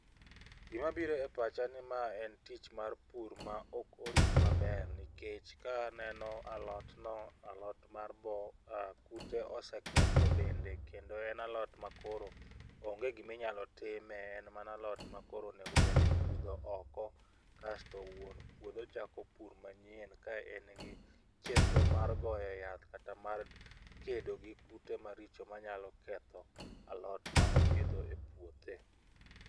Gimabire e pacha en ni ma en tich mar pur ma ok orit maber nikech ka aneno alot no alot mar boo. Kute oseketho dende kendo en alot ma koro onge giminyalo time, en mana alot ma koro onego bed ni ipudho oko kasto wuon puodho chako pur manyien ka en gi chenro mag goye yath kata mar kedo gi kute maricho manyalo ketho alot ma opidho e puothe.